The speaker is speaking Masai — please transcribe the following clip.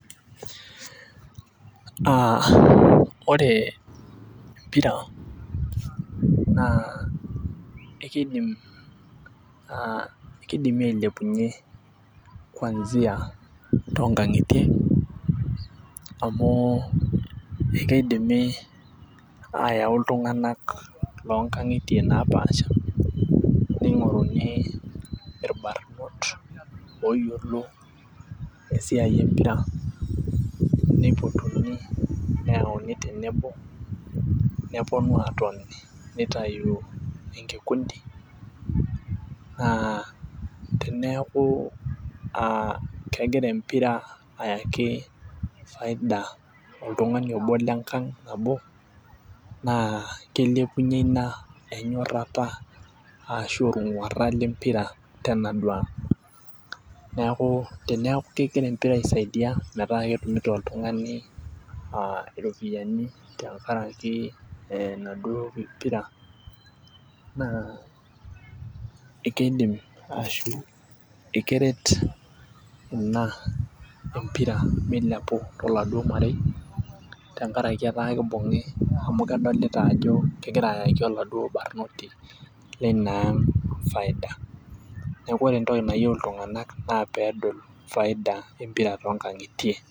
aa ore empira naa ekeidimi ailepunye kuansia too nkang'itie. amu keidimi aayau iltunganak lo nkang'itie naapasha, neing'oruni irbanot looyiolo esiai empira, neipotuni, neyauni tenebo, nepuonu aatoni nitayu, enkikundii. naa teneeku kegira empira ayaki faida oltungani obo lenkang' nabo naa kilepunye ina enyorrata ashu olng'uara le mpira tenaduoo ang'.neeku teneeku kegira empira aisaidia metaa ketumito oltungani iropiyiani, tenkarak enaduoo pira. naa kidim ekeret ina empira milepu toladuo marei. amu kedolita ajo kgira ayaki oladuoo barnoti leina ang' faida. neku ore entoki nayieu iltunganak naa peedol faida empira too nkang'itie.